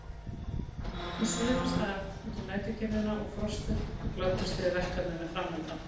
Þau svifu af stað út í næturkyrrðina og frostið og glöddust yfir verkefninu framundan.